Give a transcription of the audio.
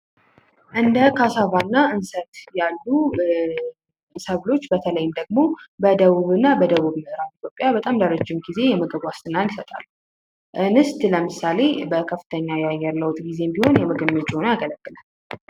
እንደ ካሳባና እንሰት ያሉ ሰብሎች በተለይም ደግሞ በደቡብና በደቡብ ምዕራብ ኢትዮጵያ ለረጅም ጊዜ የምግብ ዋስትናን ይሰጣሉ። እንሰት ለምሳሌ በከፍተኛ የአየር ለውጥ ጊዜም ቢሆን ለምግብነት ያገለግላል።